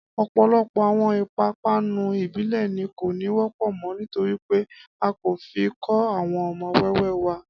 Ọ̀pọ̀lọpọ̀ àwọn ìpápanú ìbílẹ̀ ni kò ní wọ́pọ̀ mọ́ nítorí pé a kò fi kọ́ àwọn ọmọ wẹ́wẹ́ wa